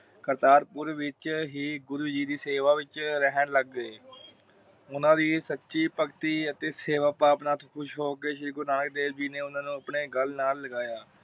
ਕਰਤਾਰ ਪੁਰ ਵਿਚ ਹੀ ਗੁਰੂ ਜੀ ਦੀ ਸੇਵਾ ਵਿਚ ਰਹਿਣ ਲੱਗ ਗਏ। ਓਨਾ ਦੀ ਸਚੀ ਭਗਤੀ ਅਤੇ ਸੇਵਾ ਭਾਵਨਾ ਤੋਂ ਖੁਸ਼ ਹੋਕੇ ਸ਼੍ਰੀ ਗੁਰੂਨਾਨਕ ਦੇਵ ਜੀ ਨੇ ਓਨਾ ਨੂੰ ਆਪਣੇ ਗੱਲ ਨਾਲ ਲਗਾਯਾ।